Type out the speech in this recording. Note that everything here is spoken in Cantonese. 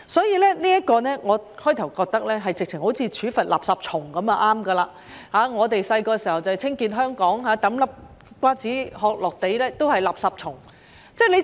起初，我認為好像處罰"垃圾蟲"般便可，我們小時候宣傳要清潔香港，丟一顆瓜子殼在地上都是"垃圾蟲"。